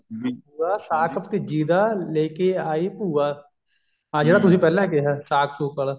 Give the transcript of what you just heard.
ਵੀ ਭੂਆ ਸਾਕ ਭਤੀਜੀ ਦਾ ਲੇਕੇ ਆਈ ਭੂਆ ਆ ਜਿਹੜਾ ਤੁਸੀਂ ਪਹਿਲਾਂ ਕਿਹਾ ਸਾਕ ਸੁਕ ਆਲਾ